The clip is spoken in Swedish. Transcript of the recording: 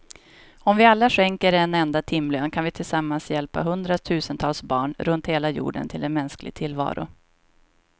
Om vi alla skänker en enda timlön kan vi tillsammans hjälpa hundratusentals barn runt hela jorden till en mänsklig tillvaro.